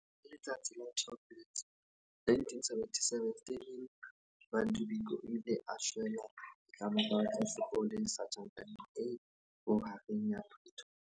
Letsatsi la 12 Loetse 1977, Stephen Bantu Biko o ile a shwela ditlamong tsa sepolesa Tjhankaneng e Bohareng ya Pretoria.